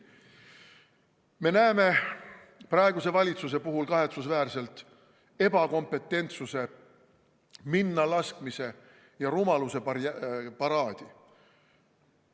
Me näeme praeguse valitsuse puhul kahetsusväärselt ebakompetentsuse, minnalaskmise ja rumaluse paraadi.